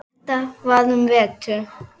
Þetta var um vetur.